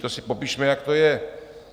To si popišme, jak to je.